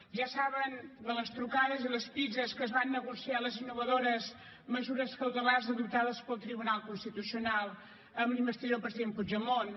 ja saben de les trucades i les pizzes amb què es van negociar les innovadores mesures cautelars adoptades pel tribunal constitucional amb la investidura del president puigdemont